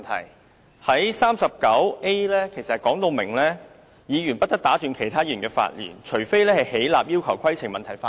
根據《議事規則》第 39a 條的規定，"議員不得打斷其他議員的發言―除非起立要求就規程問題發言"。